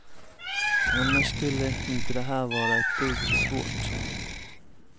Annars skulle inte det här vara ett dugg svårt.